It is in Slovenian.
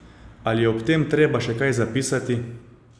Ali je ob tem treba še kaj zapisati?